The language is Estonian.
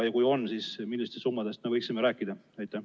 Kui on, siis millistest summadest me võiksime rääkida?